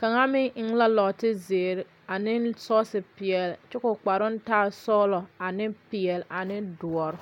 Kaŋa meŋ la nɔɔte zeere aaneŋ sɔɔse peɛle pelaa kyɛ ka o kparoŋ taa sɔgelɔ ane peɛle a ne doɔre.